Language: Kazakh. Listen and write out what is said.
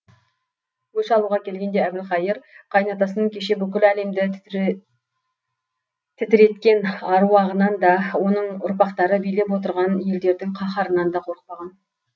өш алуға келгенде әбілқайыр қайын атасының кеше бүкіл әлемді тітіреткен аруағынан да оның ұрпақтары билеп отырған елдердің қаһарынан да қорықпаған